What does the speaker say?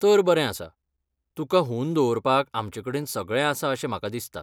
तर बरें आसा. तुका हून दवरपाक आमचेकडेन सगळें आसा अशें म्हाका दिसता.